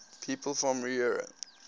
people from eure